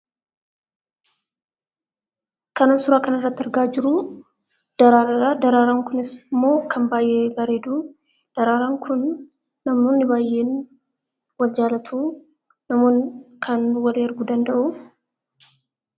Kanan suuraa kanarratti argaa jiru daraaraadha. Daraaraan kunis immoo kan baay'ee bareedu. Daraaraan kun namoonni baay'een waan jaallataniif kana walii erguu danda'u.